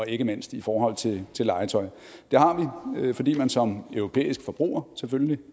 ikke mindst i forhold til legetøj det har vi fordi man som europæisk forbruger selvfølgelig